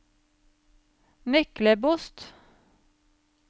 Myklebost